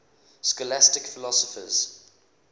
scholastic philosophers